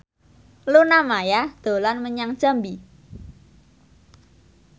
Luna Maya dolan menyang Jambi